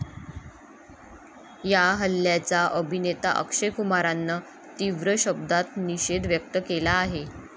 या हल्ल्याचा अभिनेता अक्षय कुमारनं तीव्र शब्दांत निषेध व्यक्त केला आहे.